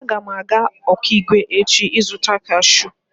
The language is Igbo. Aga m aga Okigwe echi izuta kashụụ.